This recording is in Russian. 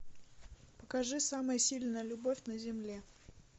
покажи самая сильная любовь на земле